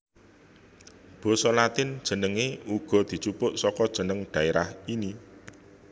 Basa Latin jenengé uga dijupuk saka jeneng dhaerah ini